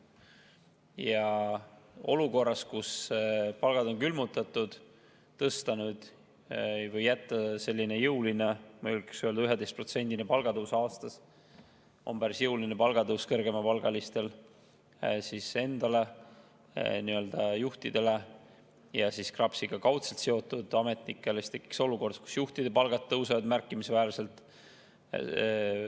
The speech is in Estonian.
Ja kui olukorras, kus palgad on külmutatud, jätta jõusse selline jõuline – ma julgeks nii öelda, sest 11%-line palgatõus aastas on päris jõuline – palgatõus kõrgemapalgalistel, nii-öelda juhtidel ja KRAPS-iga kaudselt seotud ametnikel, siis tekiks olukord, kus juhtide palgad tõusevad märkimisväärselt.